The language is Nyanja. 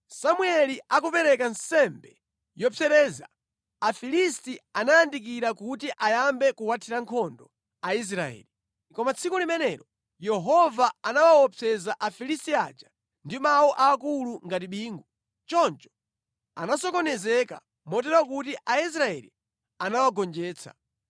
Samueli akupereka nsembe yopsereza, Afilisti anayandikira kuti ayambe kuwathira nkhondo Aisraeli. Koma tsiku limenelo Yehova anawaopseza Afilisti aja ndi mawu aakulu ngati bingu. Choncho anasokonezeka motero kuti Aisraeli anawagonjetsa.